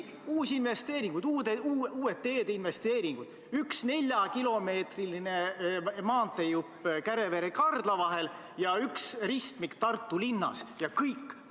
Uued teedeinvesteeringud: üks neljakilomeetrine maanteejupp Kärevere–Kardla vahel ja üks ristmik Tartu linnas – ja kõik!